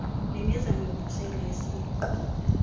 nemizamo yokuvuselela isiqu